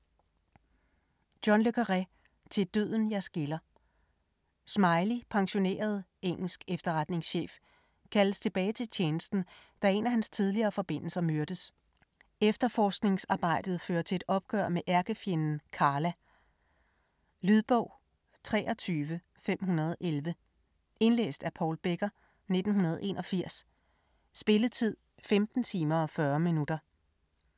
Le Carré, John: Til døden jer skiller Smiley, pensioneret engelsk efterretningschef, kaldes tilbage til tjenesten da en af hans tidligere forbindelser myrdes. Efterforskningsarbejdet fører til et opgør med ærkefjenden "Karla". Lydbog 23511 Indlæst af Paul Becker, 1981. Spilletid: 15 timer, 40 minutter.